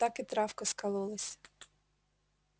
так и травка скололась